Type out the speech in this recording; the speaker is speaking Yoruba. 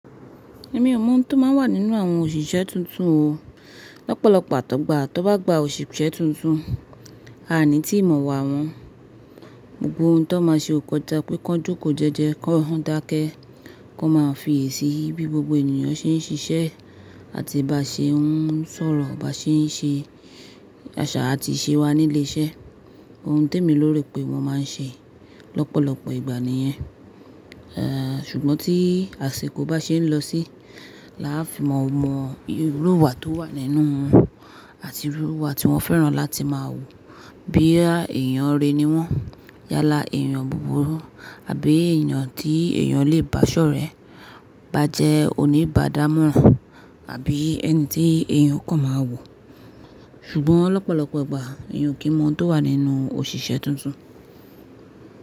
Èmi ò mọ ohun tó máa ń wà nínú àwọn òṣìṣẹ́ tuntun o. Lọ́pọ̀lọ́pọ̀ tọ́gbà tón bá gba òṣìṣẹ́ tuntun, a ni ti ìmọ̀ wa wọn. Gbogbo oun tó ma ṣe o kọjá pé kí wọ́n jókòó jẹ́jẹ́, kí wọ́n dákẹ́, kí wọ́n máa fi iyè sì bí gbogbo ènìyàn ṣe ń ṣiṣẹ́ àti bá ṣe ń sọ̀rọ̀, bá ṣe ń ṣe àṣà àti ìṣe wa ní ilé iṣẹ́. Oun tí èmi lóore pé wọn máa ń ṣe lọ́pọ̀lọpọ̀ ìgbà nìyẹn. Èè, ṣùgbọ́n tí àsìkò bá ṣe ń lọ síi, la á fi mọ irú ìwà tó wà nínú wọn àti irú ìwà tí wọ́n fẹ́ràn láti máa wù. Boya èèyàn re ni wọ́n yálà èèyàn búburú, àbí èèyàn tí èèyàn lè bá ṣọ̀rẹ́, bá jẹ́ oníbàdámọ̀ràn, àbí ẹni tí èèyàn kọ̀ máa wò. Ṣùgbọ́n lọ́pọ̀lọpọ̀ ìgbà èèyàn o kìn mọ oun tó wà nínú òṣìṣẹ́ tuntun.